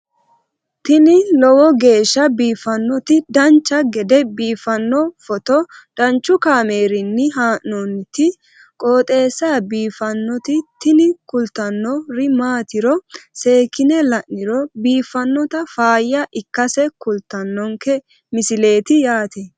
tini lowo geeshsha biiffannoti dancha gede biiffanno footo danchu kaameerinni haa'noonniti qooxeessa biiffannoti tini kultannori maatiro seekkine la'niro biiffannota faayya ikkase kultannoke misileeti yaate